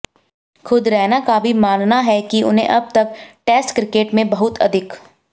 खुद रैना का भी मानना है कि उन्हें अब तक टेस्ट क्रिकेट में बहुत अधिक